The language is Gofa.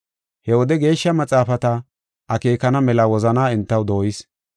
He wode Geeshsha Maxaafata akeekana mela enta wozanaa dooyis.